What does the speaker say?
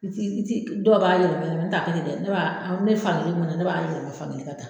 I ti i ti Dɔw b'a yɛlɛma yɛlɛma n t'a kɛ ten ne b'a ne b'a ne bɛ fan kelen min na ne b'a yɛlɛma o fan kelen